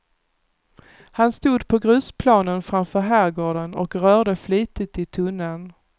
Han stod på grusplanen framför herrgården och rörde flitigt i tunnan.